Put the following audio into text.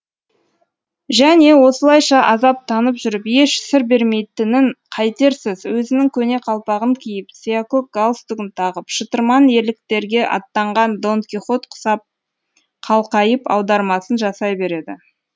және осылайша азаптанып жүріп еш сыр бермейтінін қайтерсіз өзінің көне қалпағын киіп сиякөк галстугын тағып шытырман ерліктерге аттанған дон кихот құсап қалқайып аудармасын жасай береді